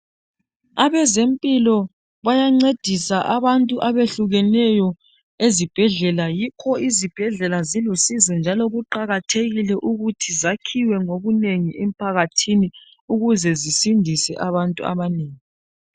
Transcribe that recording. Abezempilo bayancedisa abantu abehlukeneyo ezibhedlela yikho izibhedlela silusizo njalo kuqakathekile ukuthi zakhiwe ngobunengi emphakathini ukuze zisindise abantu abanengi .